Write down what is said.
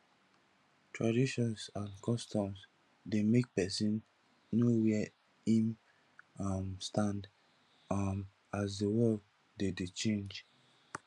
traditions and customs de make persin know where im um stand um as di world de de change